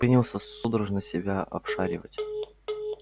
принялся судорожно себя обшаривать